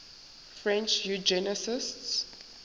french eugenicists